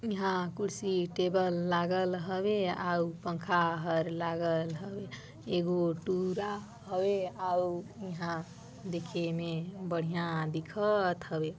इहा कुर्सी टेबल लागल हवे अउ पंखा हा लागल हवे ईगो टूरा हवे अउ इहा दिखे में बढ़िया दिखत हवे।